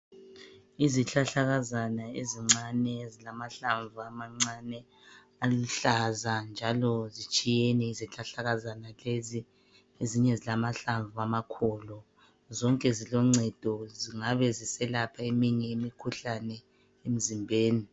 Izihlahla kazana ezincane ezilamahlamvu amancane aluhlaza njalo zitshiyene izihlahla kazana lezi ezinye ezilamahlamvu amakhulu zonke ziloncedo ezingabe ziselapha eminye imikhuhlane emzimbeni